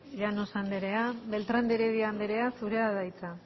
llanos anderea beltrán de heredia anderea zurea da hitza